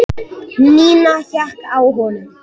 Nína hékk á honum.